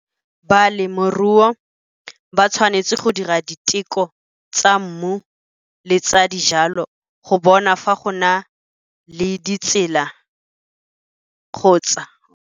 Balemirui ba tshwanetse go dira diteko tsa mmu le tsa dijalo go bona fa go na le ditsela kgotsa.